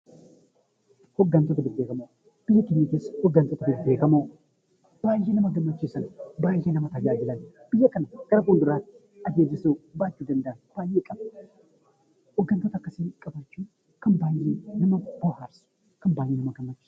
Biyya keenya keessa hoggantoota bebbeekamoo baay'ee nama gammachiisan, baay'ee nama tajaajilan, biyya kana gara fuulduraatti adeemsisuu baachuu kan danda'an baay'ee qabna. Hoggantoota akkasii qabaachuun kan baay'ee nama bohaarsuu fi kan baay'ee nama gammachiisudha.